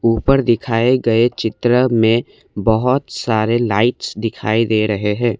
ऊपर दिखाए गए चित्र में बहुत सारे लाइट्स दिखाई दे रहे हैं।